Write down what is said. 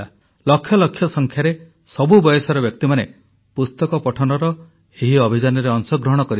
ଲକ୍ଷ ଲକ୍ଷ ସଂଖ୍ୟାରେ ସବୁ ବୟସର ବ୍ୟକ୍ତିମାନେ ପୁସ୍ତକ ପଠନର ଏହି ଅଭିଯାନରେ ଅଂଶଗ୍ରହଣ କରିଥିଲେ